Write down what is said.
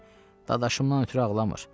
Yox, dadaşımdan ötrü ağlamır.